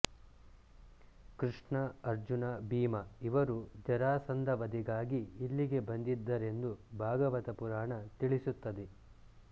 ಕೃಷ್ಣ ಅರ್ಜುನ ಭೀಮಇವರು ಜರಾಸಂಧವಧೆಗಾಗಿ ಇಲ್ಲಿಗೆ ಬಂದಿದ್ದರೆಂದು ಭಾಗವತ ಪುರಾಣ ತಿಳಿಸುತ್ತದೆ